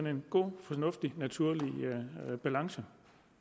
en god fornuftig og naturlig balance